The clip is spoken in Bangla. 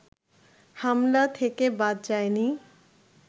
হামলা থেকে বাদ যায়নি